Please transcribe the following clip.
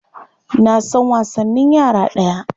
Na san wasanin yara daya.